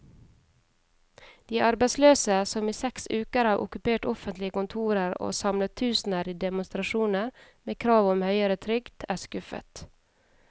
De arbeidsløse, som i seks uker har okkupert offentlige kontorer og samlet tusener i demonstrasjoner med krav om høyere trygd, er skuffet.